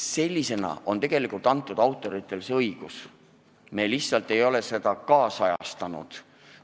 Sellisena on autoritele antud see õigus, mida ei ole lihtsalt ajakohastatud.